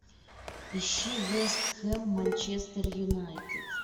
ищи вест хэм манчестер юнайтед